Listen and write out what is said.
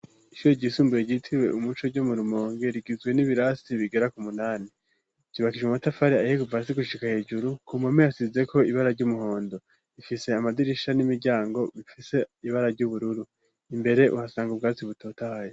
Ishure ry'isumbuye ryitiriwe umuco ryo murumonge rigizwe n'ibirasi bigera ku munani vyubakishijwe mu matafari ayihe kuva hasi gushika hejuru ku mpome hasizeko ibara ry'umuhondo ifise amadirisha n'imiryango bifise ibara ry'ubururu imbere uhasanga ubwatsi butotahaye.